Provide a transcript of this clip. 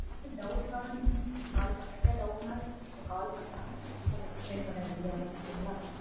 ஏதா doubt னாலும் நீங்க call பண்ணலாம். அதாவது doubt னா திருப்பி நீங்க call பண்ணலாம். நாங்க கண்டிப்பா அத explain பண்ணா ரெடியா இருக்கோம் okay ங்களா?